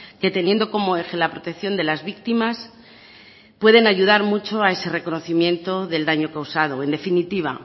que teniendo como eje la protección de las víctimas pueden ayudar mucho a ese reconocimiento del daño causado en definitiva